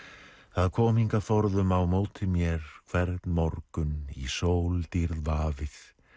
það kom hingað forðum á móti mér hvern morgun í sóldýrð vafið